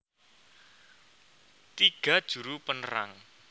Tiga Juru penerang